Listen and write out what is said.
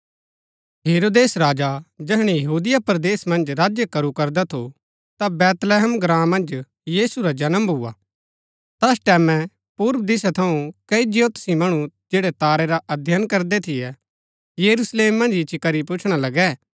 हेरोदेस राजा जैहणै यहूदिया परदेस मन्ज राज्य करू करदा थू ता बैतलहम ग्राँ मन्ज यीशु रा जन्म भुआ तैस टैमैं पूर्व दिशा थऊँ कई ज्योतिषी मणु जैड़ै तारै रा अध्ययन करदै थियै यरूशलेम मन्ज इच्ची करी पुछणा लगै